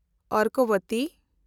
ᱚᱨᱠᱚᱵᱚᱛᱤ